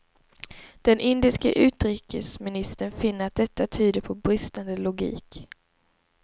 Den indiske utrikesministern finner att detta tyder på bristande logik.